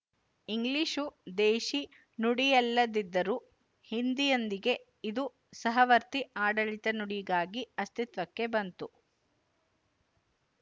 English ದೇಶೀ ನುಡಿಯಲ್ಲದಿದ್ದರೂ ಹಿಂದಿಯೊಂದಿಗೆ ಇದು ಸಹವರ್ತಿ ಆಡಳಿತ ನುಡಿಗಾಗಿ ಅಸ್ತಿತ್ವಕ್ಕೆ ಬಂತು